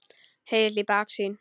Hengill í baksýn.